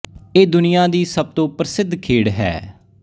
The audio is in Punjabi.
ਇਹ ਦੁਨੀਆ ਦੀ ਸਭ ਤੋਂ ਪ੍ਰਸਿੱਧ ਖੇਡ ਹੈ